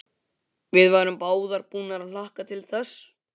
Við værum báðar búnar að hlakka til þess.